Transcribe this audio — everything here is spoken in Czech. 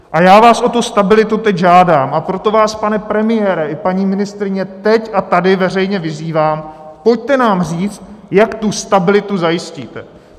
A já vás o tu stabilitu teď žádám, a proto vás, pane premiére i paní ministryně, teď a tady veřejně vyzývám, pojďte nám říct, jak tu stabilitu zajistíte.